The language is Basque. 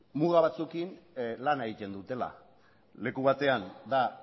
muga batzuekin lan egiten dutela leku batean da